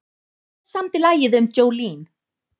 Hver samdi lagið um Jolene?